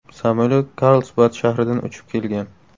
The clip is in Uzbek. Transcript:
Samolyot Karlsbad shahridan uchib kelgan.